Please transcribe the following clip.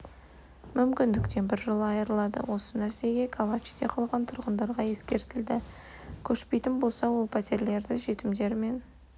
мүмкіндіктен біржола айырылады осы нәрсе калачиде қалған тұрғындарға ескертілді көшпейтін болса ол пәтерлерді жетімдер мен